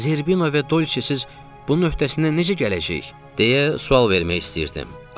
Zerbino və Dolce siz bunun öhdəsindən necə gələcəyik, deyə sual vermək istəyirdim.